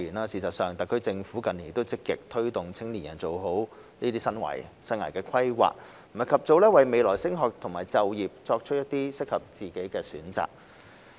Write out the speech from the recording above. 事實上，特區政府近年已積極推動青年人做好生涯規劃，及早為未來升學及就業作出適合自己的選擇。